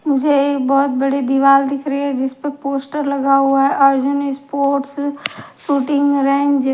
मुझे एक बहुत बड़ी दीवाल दिख रही है जिस पर पोस्टर लगा हुआ है अर्जुन स्पोर्ट्स शूटिंग रेंज ।